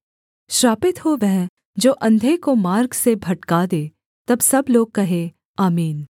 श्रापित हो वह जो अंधे को मार्ग से भटका दे तब सब लोग कहें आमीन